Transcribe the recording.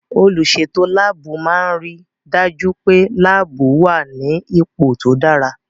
Olùsètò láàbù máa n ri dájú pé láàbù wà ní ipò tó dára